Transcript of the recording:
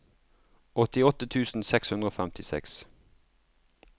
åttiåtte tusen seks hundre og femtiseks